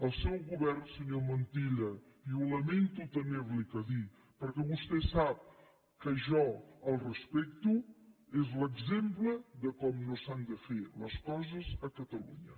el seu govern senyor montilla i lamento haver li ho de dir perquè vostè sap que jo el respecto és l’exemple de com no s’han de fer les coses a catalunya